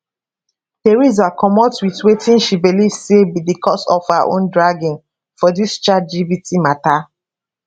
theresa comot wit wetin she believe say be di cause of her own dragging for dis chatgpt mata